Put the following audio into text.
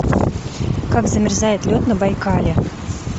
как замерзает лед на байкале